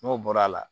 N'o bɔra a la